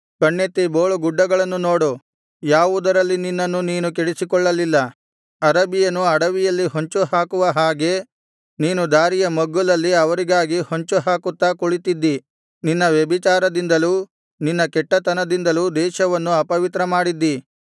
ಕಣ್ಣೆತ್ತಿ ಬೋಳು ಗುಡ್ಡಗಳನ್ನು ನೋಡು ಯಾವುದರಲ್ಲಿ ನಿನ್ನನ್ನು ನೀನು ಕೆಡಿಸಿಕೊಳ್ಳಲಿಲ್ಲ ಅರಬಿಯನು ಅಡವಿಯಲ್ಲಿ ಹೊಂಚುಹಾಕುವ ಹಾಗೆ ನೀನು ದಾರಿಯ ಮಗ್ಗುಲಲ್ಲಿ ಅವರಿಗಾಗಿ ಹೊಂಚು ಹಾಕುತ್ತಾ ಕುಳಿತಿದ್ದಿ ನಿನ್ನ ವ್ಯಭಿಚಾರದಿಂದಲೂ ನಿನ್ನ ಕೆಟ್ಟತನದಿಂದಲೂ ದೇಶವನ್ನು ಅಪವಿತ್ರಮಾಡಿದ್ದಿ